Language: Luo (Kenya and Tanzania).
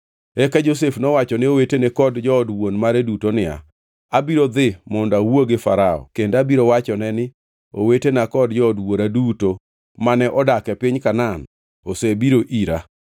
Eka Josef nowacho ne owetene kod jood wuon mare duto niya, “Abiro dhi mondo awuo gi Farao kendo abiro wachone ni, ‘Owetena kod jood wuora duto mane odak e piny Kanaan osebiro ira.